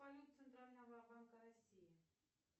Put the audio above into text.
центрального банка россии